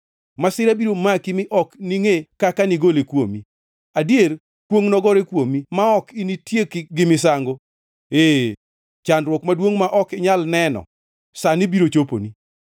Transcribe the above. Masira biro maki, mi ok ningʼe kaka digole kuomi. Adier kwongʼ nogore kuomi ma ok initieki gi misango, ee chandruok maduongʼ ma ok inyal neno sani biro choponi.